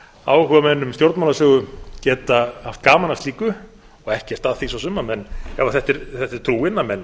áhugamenn um stjórnmálasögu geta haft gaman af slíku og ekkert að því svo sem ef þetta er trúin að menn